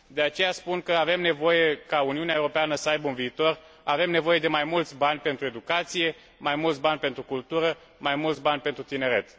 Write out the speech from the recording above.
De aceea, spun, ca Uniunea Europeană să aibă un viitor, avem nevoie de mai mulți bani pentru educație, mai mulți bani pentru cultură, mai mulți bani pentru tineret.